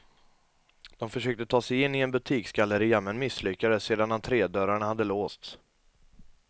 De försökte ta sig in en butiksgalleria, men misslyckades sedan entrédörrarna hade låsts.